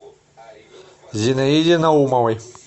зинаиде наумовой